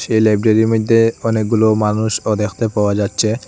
এই লাইব্রেরির মইদ্যে অনেকগুলো মানুষও দেখতে পাওয়া যাচ্চে।